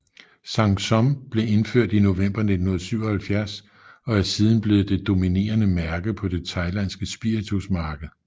Sang Som blev indført i november 1977 og er siden blevet det dominerende mærke på det thailandske spiritusmarked